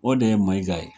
O de ye maiga ye